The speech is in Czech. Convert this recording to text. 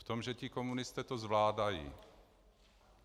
V tom, že ti komunisté to zvládají.